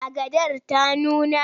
Agadar ta nuna?